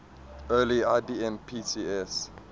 early ibm pcs